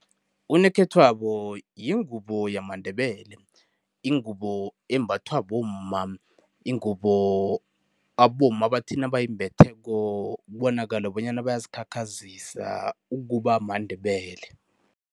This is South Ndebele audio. Unokhethwabo yingubo yamaNdebele, ingubo embathwa bomma. Ingubo abomma bathi nabayimbetheko, kubonakale bonyana bayazikhakhazisa ukuba maNdebele.